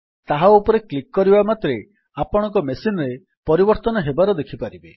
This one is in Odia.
ତାହା ଉପରେ କ୍ଲିକ୍ କରିବା ମାତ୍ରେ ଆପଣଙ୍କ ମେସିନ୍ ରେ ପରିବର୍ତ୍ତନ ହେବାର ଦେଖିପାରିବେ